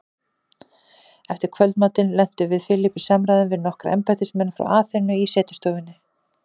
Eftir kvöldmatinn lentum við Philip í samræðum við nokkra embættismenn frá Aþenu í setustofunni.